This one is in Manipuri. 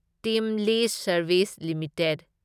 team list service limited